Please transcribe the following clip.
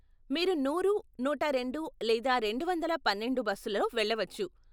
మీరు నూరు, నూట రెండు లేదా రెండు వందల పన్నెండు బస్సులో వెళ్ళవచ్చు.